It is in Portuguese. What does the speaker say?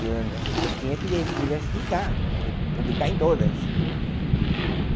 Eu tinha que di diversificar, que publicar em todas.